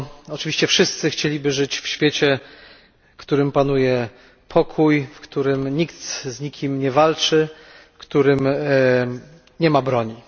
Oczywiście wszyscy chcieliby żyć w świecie, w którym panuje pokój, w którym nikt z nikim nie walczy, w którym nie ma broni.